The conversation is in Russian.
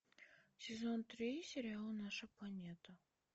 сезон три сериала наша планета